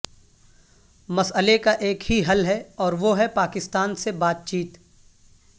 مسئلے کا ایک ہی حل ہے اور وہ ہے پاکستان سے بات چیت